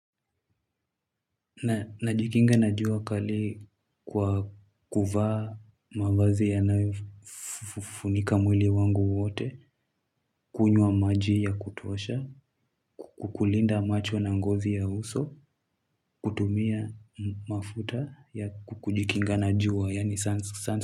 Najikinga na jua kali kwa kuvaa mavazi yanayofunika mwili wangu wote, kunywa maji ya kutuosha, kulinda macho na ngozi ya uso, kutumia mafuta ya kukujikinga na jua, yaani.